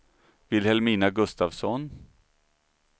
Vilhelmina Gustavsson